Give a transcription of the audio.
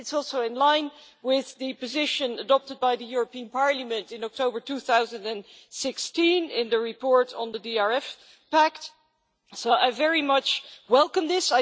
It is also in line with the position adopted by the European Parliament in October 2016 in the report on the DRF Pact so I very much welcome this.